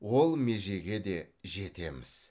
ол межеге де жетеміз